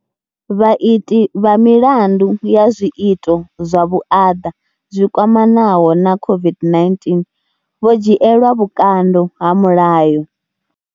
Vhaiti vha milandu ya zwiito zwa vhuaḓa zwi kwamanaho na COVID-19 vho dzhielwa vhukando ha mulayo.